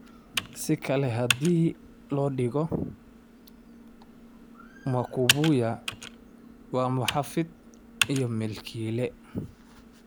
Si kale haddii loo dhigo, Makubuya waa muxaafid iyo milkiile.